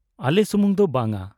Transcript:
ᱟᱞᱮ ᱥᱩᱢᱩᱝ ᱫᱚ ᱵᱟᱝᱟ